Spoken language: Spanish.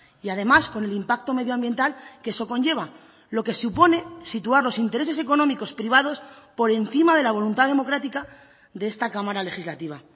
y además con el impacto medioambiental que eso conlleva lo que supone situar los intereses económicos privados por encima de la voluntad democrática de esta cámara legislativa